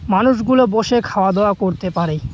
মানুষগুলো বসে খাওয়া দাওয়া করতে পারে।